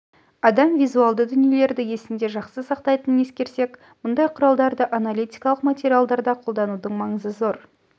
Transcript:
адам визуалды дүниелерді есінде жақсы сақтайтынын ескерсек мұндай құралдарды аналитикалық материалдарда қолданудың маңызы зор